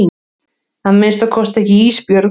Að minnsta kosti ekki Ísbjörg.